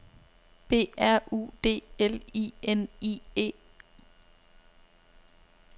B R U D L I N I E